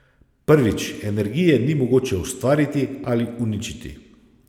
Prvič, energije ni mogoče ustvariti ali uničiti.